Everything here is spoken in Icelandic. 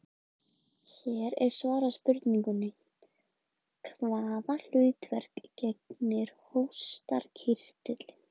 Laxfiskar eru í eðli sínu miklir tækifærissinnar í fæðuvali.